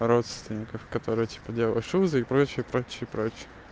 родственников которые типа делаешь все прочее прочее прочее